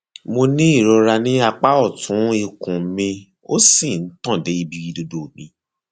mo ní ìrora ní apá ọtún ikùn mi ó sì ń tàn dé ibi ìdodo mi